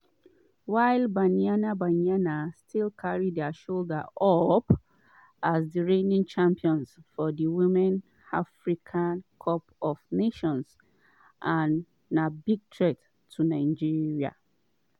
while banyana banyana stil carry dia shoulder up as di reigning champions of di women africa cup of nations and na big threat to nigeria.